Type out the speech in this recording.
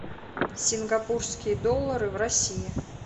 сингапурские доллары в россии